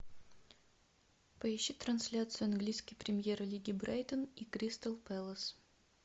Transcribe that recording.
поищи трансляцию английской премьер лиги брайтон и кристал пэлас